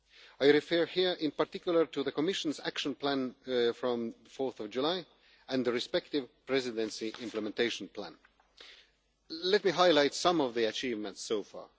I refer here in particular to the Commission's Action Plan of 4 July and the respective Presidency implementation plan. Let me highlight some of the achievements so far.